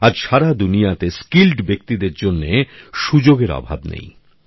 আজ সারা দুনিয়াতে দক্ষ ব্যক্তি দের জন্যে সুযোগের অভাব নেই